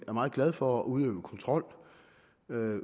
er meget glade for at udøve kontrol